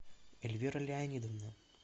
эльвира леонидовна